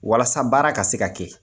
Walasa baara ka se ka kɛ